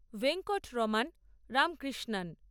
Venkatraman Ramakrishnan